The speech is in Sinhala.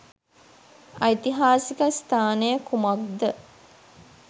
ඓතිහාසික ස්ථානය කුමක්ද?